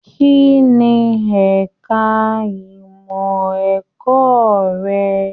Kínní ẹka ìmọ ẹ̀kọ́ rẹ?